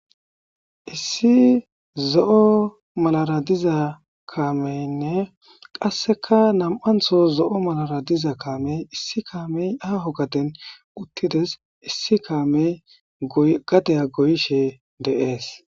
issi zo7o malara diza kaameynne qasseka nam7antho zo7o malara diza kaamey issi kaamey aho gaden uttides issi kaamey gateya goyishe deees